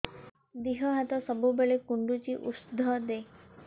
ଦିହ ହାତ ସବୁବେଳେ କୁଣ୍ଡୁଚି ଉଷ୍ଧ ଦେ